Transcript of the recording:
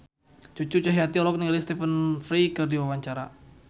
Cucu Cahyati olohok ningali Stephen Fry keur diwawancara